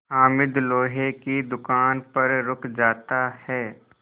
हामिद लोहे की दुकान पर रुक जाता है